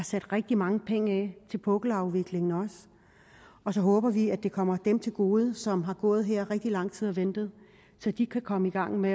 sat rigtig mange penge af til pukkelafviklingen og så håber vi at det kommer dem til gode som har gået i rigtig lang tid og ventet så de kan komme i gang med